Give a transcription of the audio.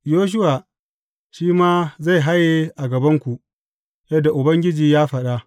Yoshuwa shi ma zai haye a gabanku, yadda Ubangiji ya faɗa.